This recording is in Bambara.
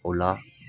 O la